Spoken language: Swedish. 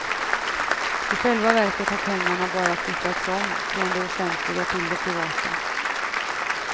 I själva verket har pengarna bara flyttats om, från det offentliga till det privata.